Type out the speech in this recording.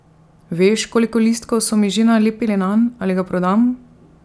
Veš, koliko listkov so mi že nalepili nanj, ali ga prodam!